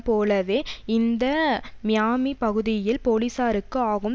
போலவே இந்த மியாமி பகுதியில் போலீசாருக்கு ஆகும்